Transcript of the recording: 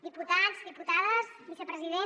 diputats diputades vicepresident